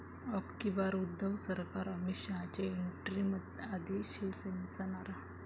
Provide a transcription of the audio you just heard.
अब की बार उद्धव सरकार', अमित शहांच्या एंट्रीआधी शिवसेनेचा नारा